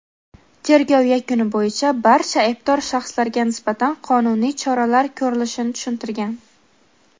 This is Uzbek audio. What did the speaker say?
tergov yakuni bo‘yicha barcha aybdor shaxslarga nisbatan qonuniy choralar ko‘rilishini tushuntirgan.